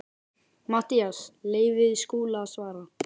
MATTHÍAS: Leyfið þið Skúla að svara.